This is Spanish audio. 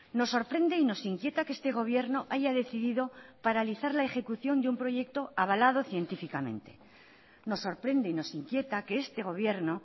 nos sorprende y nos inquieta que este gobierno haya decidido paralizar la ejecución de un proyecto avalado científicamente nos sorprende y nos inquieta que este gobierno